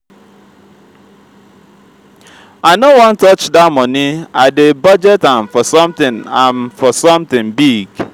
i no wan touch dat money i dey budget am for something am for something big